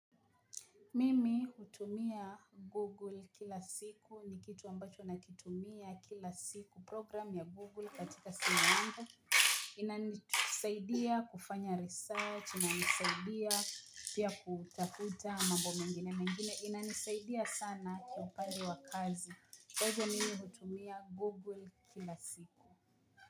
Mimi hutumia Google kila siku, ni kitu ambacho nakitumia kila siku. Program ya google katika simu yangu inanisaidia kufanya research, inanisaidia pia kutafuta mambo mengine mengine, inanisaidia sana kwa upande wa kazi. Kwa hivyo mimi hutumia Google kila siku.